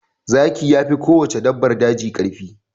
Zaki yafi kowace dabbar daji karfi.